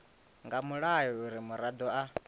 nga mulayo uri muraḓo a